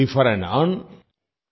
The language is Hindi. refer earn